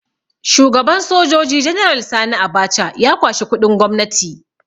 Shugaban Sojoji General Sani Abacha ya kwashi kuɗin gwamnati